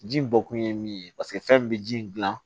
Ji bɔkun ye min ye paseke fɛn min bɛ ji in gilan